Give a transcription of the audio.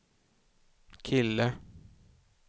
kille